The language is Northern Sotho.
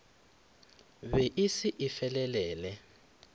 be e se e felelele